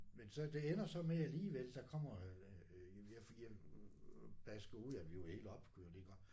Men så det ender så med alligevel der kommer øh jamen jeg for jeg basker ud at vi er jo helt opkørte iggå